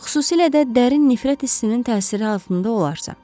Xüsusilə də dərin nifrət hissinin təsiri altında olarsa.